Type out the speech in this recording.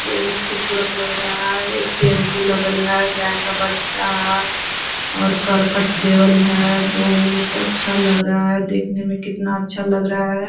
बहुत खुबसुरत लग रहा है एक टेम्पू लगल है गाय का बच्चा है और करकट देवल है बहुत अच्छा लग रहा है देखने में कितना अच्छा लग रहा है।